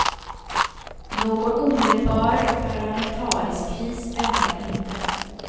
Någon omedelbar parlamentarisk kris väntar inte.